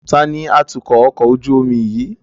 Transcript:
Taàní atukọ̀ ọkọ̀ ojú omi yìí?